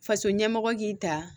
Faso ɲɛmɔgɔ k'i ta